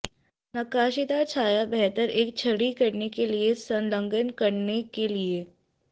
नक्काशीदार छाया बेहतर एक छड़ी करने के लिए संलग्न करने के लिए